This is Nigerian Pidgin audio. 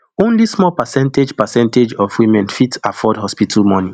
only small percentage percentage of women fit afford hospital money